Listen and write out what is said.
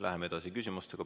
Läheme edasi põhiküsimustega.